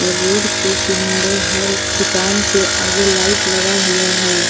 Road के किनारे हर दुकान के आगे लाइट लगा हुआ है।